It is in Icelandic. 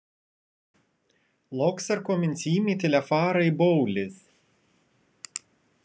Loks er kominn tími til að fara í bólið.